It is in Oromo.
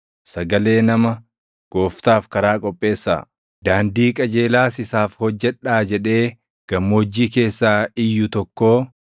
“Sagalee nama, ‘Gooftaaf karaa qopheessaa; daandii qajeelaas isaaf hojjedhaa’ jedhee gammoojjii keessaa iyyu tokkoo.” + 1:3 \+xt Isa 40:3\+xt*